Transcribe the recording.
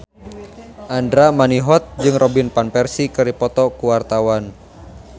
Andra Manihot jeung Robin Van Persie keur dipoto ku wartawan